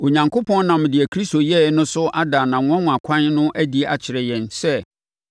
Onyankopɔn nam deɛ Kristo yɛeɛ no so ada nʼanwanwa kwan no adi akyerɛ yɛn sɛ,